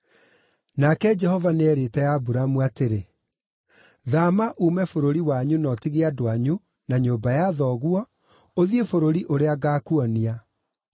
Nake Jehova nĩeerĩte Aburamu atĩrĩ, “Thaama uume bũrũri wanyu na ũtige andũ anyu, na nyũmba ya thoguo, ũthiĩ bũrũri ũrĩa ngaakuonia.